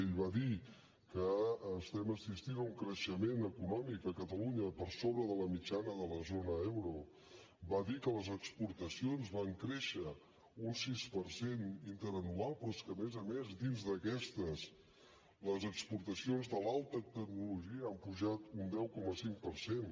ell va dir que estem assistint a un creixement econòmic a catalunya per sobre de la mitjana de la zona euro va dir que les exportacions van créixer un sis per cent interanual però és que a més a més dins d’aquestes les exportacions de l’alta tecnologia han pujat un deu coma cinc per cent